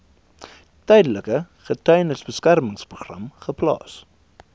tydelike getuiebeskermingsprogram geplaas